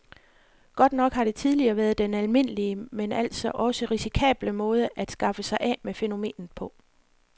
Godt nok har det tidligere været den almindelige, men altså også risikable måde at skaffe sig af med fænomenet på.